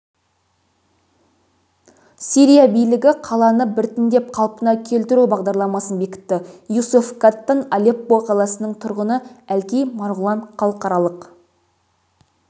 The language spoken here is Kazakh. сирия билігі қаланы біртіндеп қалпына келтіру бағдарламасын бекітті юсеф каттан алеппо қаласының тұрғыны әлкей марғұлан халықаралық